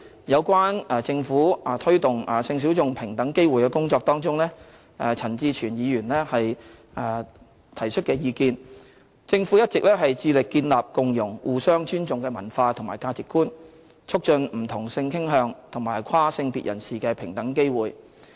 有關政府推動性小眾平等機會的工作中，就陳志全議員提出的意見，政府一直致力建立共融和互相尊重的文化和價值觀，促進不同性傾向和跨性別人士的平等機會。